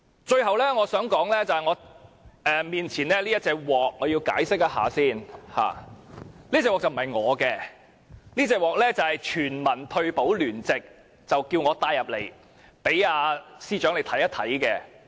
最後，我要解釋一下，面前這隻鍋不是我的，而是爭取全民退休保障聯席叫我帶進來，讓司長看一看。